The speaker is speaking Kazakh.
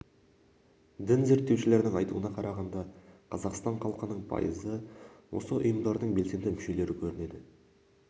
дін зерттеушілердің айтуына қарағанда қазақстан халқының пайызы осы ұйымдардың белсенді мүшелері көрінеді